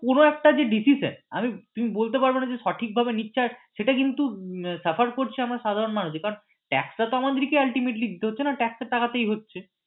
পুরো একটা যে deceission তুমি বলতে পারবে না যে সঠিক ভাবে নিচ্ছে আর সেটা কিন্তু suffer করছি আমরা সাধারণ মানুষই কারণ tax টা তো আমাদেরকেই ultimately দিতে হচ্ছে না tax এর টাকাতেই হচ্ছে।